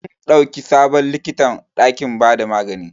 An dauki sabon likita dakin ba da magani.